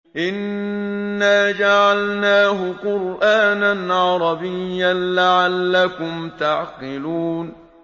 إِنَّا جَعَلْنَاهُ قُرْآنًا عَرَبِيًّا لَّعَلَّكُمْ تَعْقِلُونَ